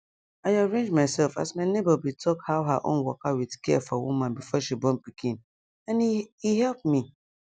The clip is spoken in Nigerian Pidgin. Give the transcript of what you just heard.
i arrange myself as my neighbor be talk how her own waka with care for woman before she born pikin and e e help me